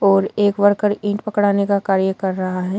और एक वर्कर ईंट पकड़ाने का कार्य कर रहा है।